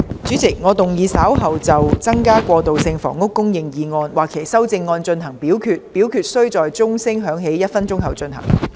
主席，我動議若稍後就"增加過渡性房屋供應"所提出的議案或其修正案進行點名表決，表決須在鐘聲響起1分鐘後進行。